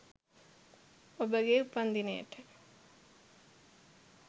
ඔබගේ උපන්දිනයට